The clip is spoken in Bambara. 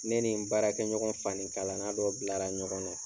Ne ni n baarakɛ ɲɔgɔn fani kalanna dɔ bilara ɲɔgɔn na.